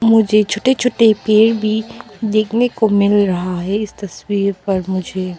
मुझे छोट्टे छोट्टे पेड़ भी देखने को मिल रहा है इस तस्वीर पर मुझे।